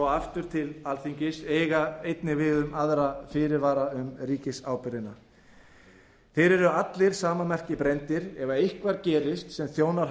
aftur til alþingis eiga einnig við um aðra fyrirvara um ríkisábyrgðina þeir eru allir sama merki brenndir að ef eitthvað gerist sem þjónar